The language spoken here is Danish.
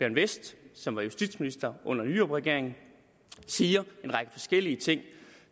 westh som var justitsminister under nyrupregeringen siger en række forskellige ting